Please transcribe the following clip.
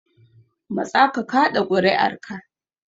Matsa ka kaɗa kuri'arka.